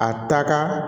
A taa ka